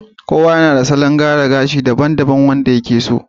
kowa yana da salon gyara gashi daban-daban wanda ya ke so